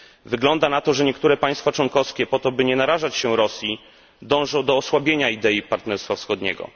Wygląda na to, że niektóre państwa członkowskie po to, by nie narażać się Rosji, dążą do osłabienia idei partnerstwa wschodniego.